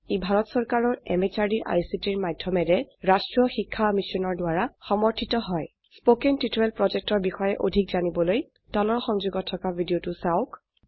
ই ভাৰত চৰকাৰৰ MHRDৰ ICTৰ মাধয়মেৰে ৰাস্ত্ৰীয় শিক্ষা মিছনৰ দ্ৱাৰা সমৰ্থিত হয় spoken টিউটৰিয়েল projectৰ বিষয়ে অধিক জানিবলৈ তলৰ সংযোগত থকা ভিডিঅ চাওক